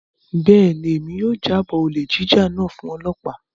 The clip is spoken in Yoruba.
Bẹ́ẹ̀ni, Emi yóò jabọo olè jíjà náà fun ọlọpa.